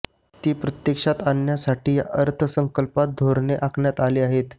ती प्रत्यक्षात आणण्यासाठी या अर्थसंकल्पात धोरणे आखण्यात आली आहेत